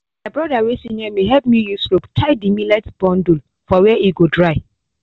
my broda wey senior me help me use rope tie the millet bundle for where e go dry